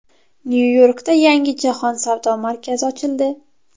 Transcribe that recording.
Nyu-Yorkda yangi Jahon savdo markazi ochildi.